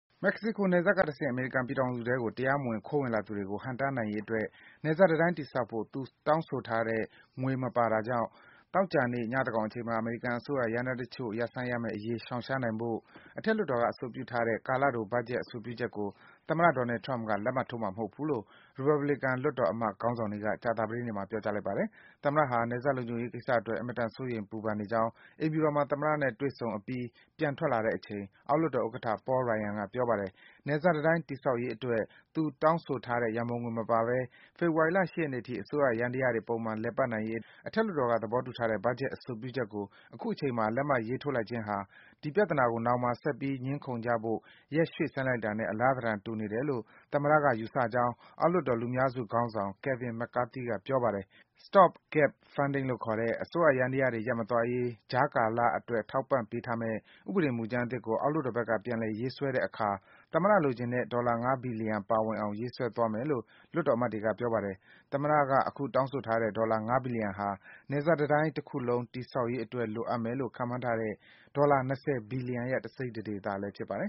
မက္ကဆီကို နယ်စပ်ကတဆင့် အမေရိကန်ပြည်ထောင်စုထဲကို တရားမဝင် ခိုးဝင်လာသူတွေကို ဟန့်တားနိုင်ရေးအတွက် နယ်စပ် တံတိုင်းတည်ဆောက်ဖို့ သူတောင်းဆိုထားတဲ့ ငွေမပါတဲ့အတွက် သောကြာနေ့ ညသန်းခေါင်အချိန်မှာ အမေရိကန်အစိုးရ ယန္တရားတချို့ ရပ်ဆိုင်းရမယ့်အရေး ရှောင်ရှားနိုင်ဖို့ အထက်လွှတ်တော်က အဆိုပြုထားတဲ့ ကာလတို ဘတ်ဂျက်အဆိုပြုချက်ကို သမ္မတ Donald Trump က လက်မှတ်ထိုးမှာ မဟုတ်ဘူးလို့ ရီပတ်ဘလီကန် လွှတ်တော်အမတ် ခေါင်းဆောင်တွေက ကြာသပတေးနေ့မှာ ပြောကြားလိုက်ပါတယ်။ သမ္မတဟာ နယ်စပ်လုံခြုံရေးကိစ္စအတွက် အင်မတန် စိုးရိမ် ပူပန်နေကြောင်း အိမ်ဖြူတော်မှာ သမ္မတ Trump နဲ့ တွေ့ဆုံပြီး ပြန်ထွက်လာတဲ့အချိန် အောက်လွှတ်တော်ဥက္ကဋ္ဌ Paul Ryan က ပြောပါတယ်။ နယ်စပ်တံတိုင်း တည်ဆောက်ရေးအတွက် သူတောင်းဆိုထားတဲ့ ရန်ပုံငွေ မပါဘဲ ဖေဖော်ဝါရီလ ၈ ရက်နေ့အထိ အစိုးရယန္တရားတွေ ပုံမှန် လည်ပတ်နိုင်ရေးအတွက် အထက်လွှတ်တော်က သဘောတူထားတဲ့ ဘတ်ဂျက် အဆိုပြုချက်ကို အခုအချိန်မှာ လက်မှတ် ရေးထိုး လိုက်ခြင်းဟာ ဒီပြဿနာကို နောင်မှာ ဆက်ပြီး ငြင်းခုန်ကြဖို့ ရက်ရွေ့ဆိုင်းလိုက်တာနဲ့ အလားသဏ္ဍာန် တူနေတယ်လို့ သမ္မတ Trump က ယူဆကြောင်း အောက်လွှတ်တော် လူများစုခေါင်းဆောင် Kevin McCarthy ကလည်း ပြောပါတယ်။ Stopgap funding လို့ခေါ်တဲ့ အစိုးယန္တရားတွေ ရပ်မသွားရေး ကြားကာလအတွက် ထောက်ပံ့ပေးထားမယ့် ဥပဒေ မူကြမ်းအသစ်ကို အောက်လွှတ်တော်ဘက်က ပြန်လည် ရေးဆွဲတဲ့အခါ သမ္မတလိုချင်တဲ့ ဒေါ်လာ ၅ ဘီလီယံ ပါဝင်အောင် ရေးဆွဲသွားမယ်လို့ လွှတ်တော် အမတ်တွေက ပြောပါတယ်။ သမ္မတက အခု တောင်းဆိုနေတဲ့ ဒေါ်လာ ၅ ဘီလီယံဟာ နယ်စပ်တံတိုင်းကြီး တခုလုံး တည်ဆောက်ရေး အတွက် လိုအပ်မယ်လို့ ခန့်မှန်းထားတဲ့ ဒေါ်လာ ၂၀ ဘီလီယံရဲ့ တစိတ် တဒေသလည်း ဖြစ်ပါတယ်